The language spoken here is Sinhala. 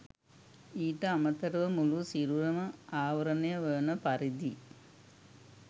ඊට අමතරව මුළු සිරුරම ආවරණය වන පරිදි